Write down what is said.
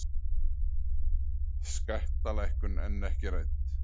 Skattalækkun enn ekki rædd